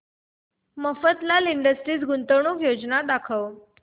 Mafatlal industries गुंतवणूक योजना दाखव